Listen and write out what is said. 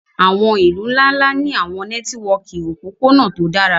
àwọn ilu nla-nla ni àwọn nẹtiwọki opopona to dara